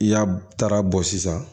I y'a tara bɔ sisan